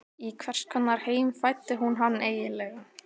Í hvers konar heim fæddi hún hann eiginlega?